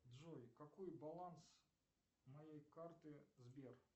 джой какой баланс моей карты сбер